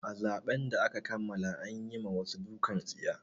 A zaben da aka kammala an yi ma wasu dukan tsiya.